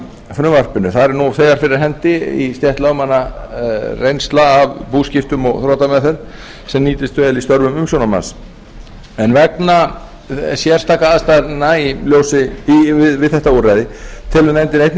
frumvarpinu þar er nú þegar fyrir hendi í stétt lögmanna reynsla af búskiptum og þrotameðferð sem nýtist vel í störfum umsjónarmanns vegna sérstakra aðstæðna við þetta úrræði telur nefndin einnig rétt